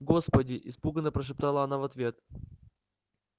господи испуганно прошептала она в ответ